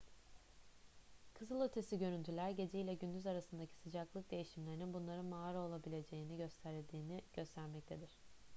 kızılötesi görüntüler gece ile gündüz arasındaki sıcaklık değişimlerinin bunların mağara olabileceğini gösterdiğini göstermektedir